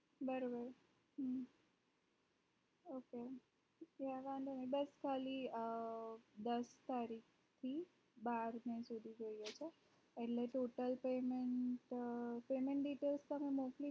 બરોબર ok બસ ખાલી દસ sorry તારીખ થી બાર જુન સુધી જઈએ છીએ એટલે total payment payment details તને મોકલજો